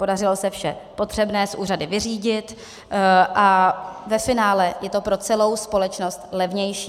Podařilo se vše potřebné s úřady vyřídit a ve finále je to pro celou společnost levnější.